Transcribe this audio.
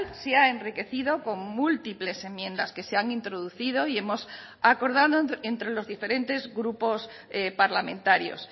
se ha enriquecido con múltiples enmiendas que se han introducido y hemos acordado entre los diferentes grupos parlamentarios